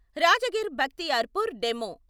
Rajgir Bakhtiyarpur DEMU